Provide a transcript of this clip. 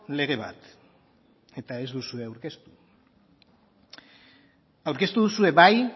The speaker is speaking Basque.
lege bat eta ez duzue aurkeztu aurkeztu duzue bai